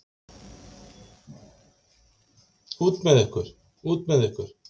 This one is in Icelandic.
Út með ykkur. út með ykkur.